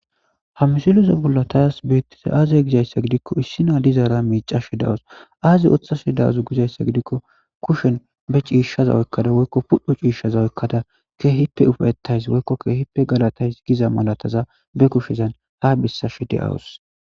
hamisiloza bullatays beettiza aazy gizayssa gidikko issina dizaara miicashe dawus aaze othashe daazu gizayssa gidikko kushen be ciishshaza oykkada woykko pudhu ciishshaza oykkada ke hipe ufaetays woykkokke hippe galatays giza malataza be kushezan ha bissashe de7awus